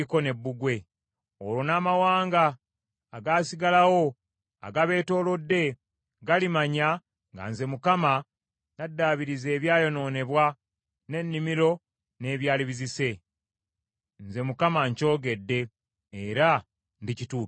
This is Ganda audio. Olwo n’amawanga agaasigalawo agabeetoolodde galimanya nga nze Mukama , naddaabiriza ebyayonoonebwa, n’ennimiro n’ebyali bizise. Nze Mukama nkyogedde, era ndikituukiriza.’